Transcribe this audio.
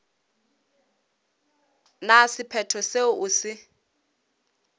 na sephetho seo o se